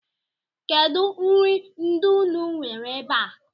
Kedụ nri ndị unu nwere ebe a?